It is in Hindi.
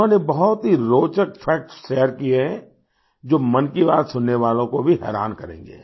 उन्होंने बहुत ही रोचक फैक्ट्स शेयर किये हैं जो मन की बात सुनने वालों को भी हैरान करेंगे